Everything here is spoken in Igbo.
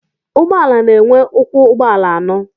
Ụgbọala na-enwe ụkwụ ụgbọala ano